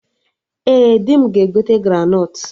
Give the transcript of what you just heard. Ee, dị m ga-egote granọt